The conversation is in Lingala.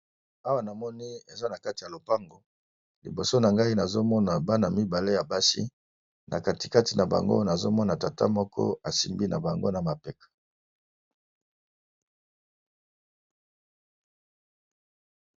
Awa na moni eza na kati ya lopango, liboso na ngai nazomona bana mibale ya basi na katikati na bango nazomona tata moko asimbi na bango na mapeka.